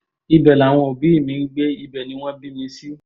ibẹ̀ làwọn òbí mi ń gbé ibẹ̀ ni wọ́n bí mi sí